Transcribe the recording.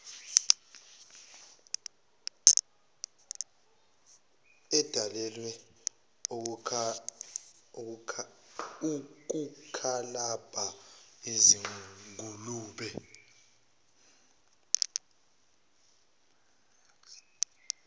edalelwe ukukalabha izingulube